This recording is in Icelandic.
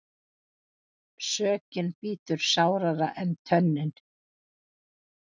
Sökin bítur sárara en tönnin.